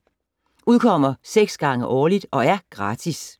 Udkommer 6 gange årligt og er gratis.